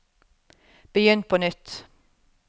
begynn på nytt